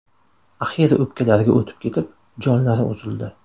Axiri o‘pkalariga o‘tib ketib, jonlari uzildi.